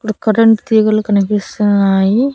Current తీగలు కన్పిస్తున్నాయి.